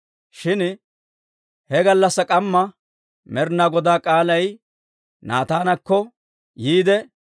Shin he gallassaa k'amma Med'inaa Godaa k'aalay Naataanakko yiide,